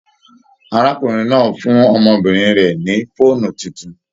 Arákùnrin náà fún ọmọbìnrin rẹ ni fóònù títún.